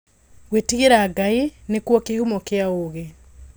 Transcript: Ngwĩtigĩra Ngai nĩkuo kĩhumo kĩa wũgĩ.